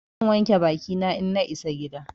Zan wanke bakina in na isa gida.